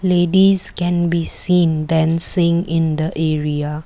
ladies can be seen dancing in the area.